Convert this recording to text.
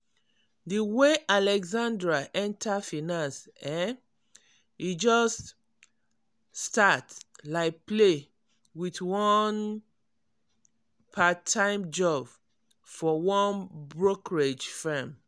di way alexandra enter finance[um]e just um start like play with one part-time job for one brokerage firm.